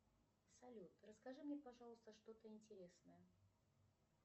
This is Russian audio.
салют расскажи мне пожалуйста что то интересное